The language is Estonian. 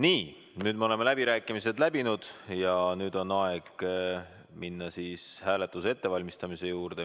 Nii, nüüd me oleme läbirääkimised läbinud ja nüüd on aeg minna hääletuse ettevalmistamise juurde.